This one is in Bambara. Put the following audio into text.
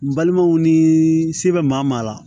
N balimanw ni se bɛ maa maa maa